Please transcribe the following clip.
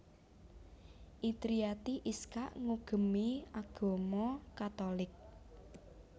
Indriati Iskak ngugemi agama Katolik